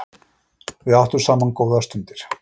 Við áttum saman góðar stundir.